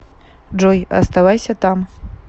джой оставайся там